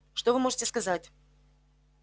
что вы можете сказать